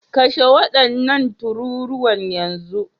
Kashe wadannan tururuwan yanzu